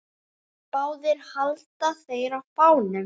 Báðir halda þeir á fánum.